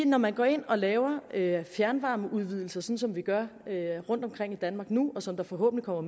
når man går ind og laver fjernvarmeudvidelser som som vi gør rundtomkring i danmark nu og som der forhåbentlig kommer